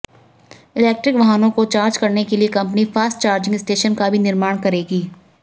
electric वहनों को charge करने के लिए कंपनी फास्ट चार्जिंग स्टेशन का भी निर्माण करेगी